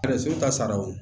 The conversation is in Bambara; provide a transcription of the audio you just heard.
ka sara o